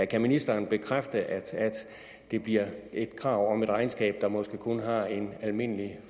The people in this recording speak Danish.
kan ministeren bekræfte at det bliver et krav om et regnskab der måske kun har en almindelig